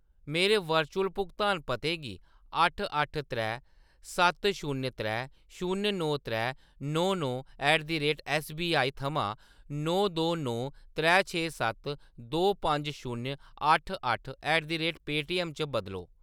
मेरे वर्चुअल भुगतान पते गी अट्ठ अट्ठ त्रै सत्त शून्य त्रै शून्य नौ त्रै नौ नौ ऐट द रेट एस्सबीआई थमां नौ दो नौ त्रै छे सत्त दो पंज शून्य अट्ठ अट्ठ ऐट द रेट पेऽटीएम च बदलो